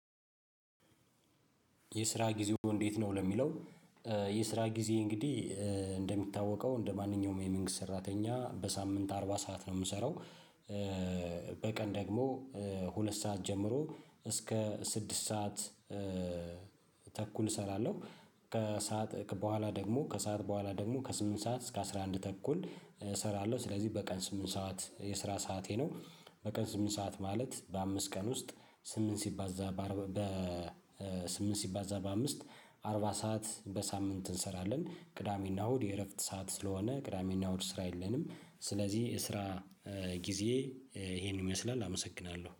የስራ ጊዜዎ እንዴት ነው ለሚለው? የስራ ጊዜ እንግዲህ እንደሚታወቀው እንደማንኛውም የመንግስት ሰራተኛ በሳምን አርባ ሰዓት ነው ምሰራው። በቀን ደግሞ ሁለት ሰዓት ጀምሮ እስከ ስድስት ሰዓት ተኩል እሰራለሁ ከሰአት በኋላ ደግሞ ከሰአት በኋላ ደግሞ ከስምንት እስከ አስራአንድ ተኩል እሰራለሁ። ስለዚህ በቀን ስምንት ሰዓት የስራ ሰዓቴ ነው። በቀን ስምንት ሰዓት ማለት በአምስት ቀን ውስጥ ስምንት ሲባዛ በአምስት አርባ ሰዓት በሳምንት እንሰራለን። ቅዳሜ እና እሁድ የረፍት ሰዓት ስለሆነ ቅዳሜ እና እሁድ ስራ የለንም። ስለዚህ የስራ ጊዜየ ይህንን ይመስላል። አመሰግናለሁ